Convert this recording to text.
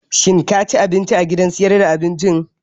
Shin ka ci abinci a gidan sayar da abincin?